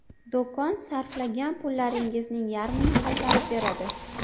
Do‘kon sarflagan pullaringizning yarmini qaytarib beradi!.